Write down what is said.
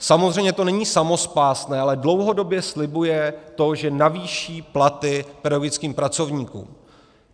Samozřejmě to není samospásné, ale dlouhodobě slibuje to, že navýší platy pedagogickým pracovníkům.